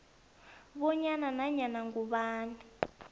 bonyana nanyana ngubani